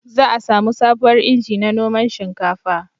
Za a samu sabuwar inji na noman shinkafa